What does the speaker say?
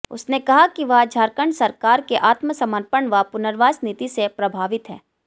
उसने कहा कि वह झारखंड सरकार के आत्मसमर्पण व पुनर्वास नीति से प्रभावित है